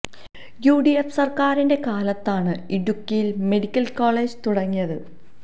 U D F സര്ക്കാരിന്റെ കാലത്താണ് ഇടുക്കിയില് മെഡിക്കല് കോളേജ് തുടങ്ങിയത്